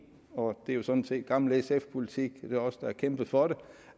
og det er jo sådan set gammel sf politik det er os der har kæmpet for det